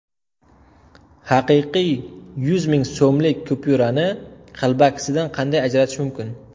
Haqiqiy yuz ming so‘mlik kupyurani qalbakisidan qanday ajratish mumkin?